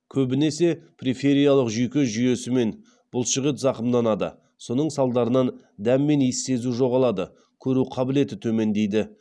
көбінесе прифериялық жүйке жүйесі мен бұлшықет зақымданады соның салдарынан дәм мен иіс сезу жоғалады көру қабілеті төмендейді